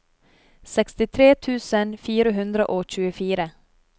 sekstitre tusen fire hundre og tjuefire